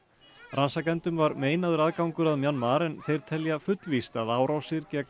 rannsakendum var meinaður aðgangur að Mjanmar en þeir telja fullvíst að árásir gegn